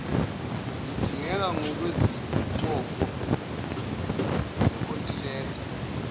lidingeka ngokwezibopho zenkontileka